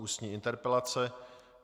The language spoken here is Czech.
Ústní interpelace